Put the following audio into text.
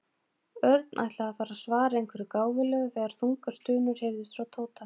Örn ætlaði að fara að svara einhverju gáfulegu þegar þungar stunur heyrðust frá Tóta.